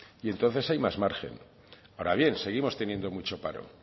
y entonces hay más margen ahora bien seguimos teniendo mucho paro